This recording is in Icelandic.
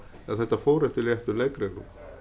að þetta fór eftir réttum leikreglum